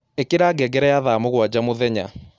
ĩkĩra ngengere ya thaa mũgwanja mũthenya